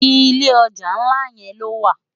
Ilé òjá nlá wó ló wá?